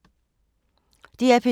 DR P2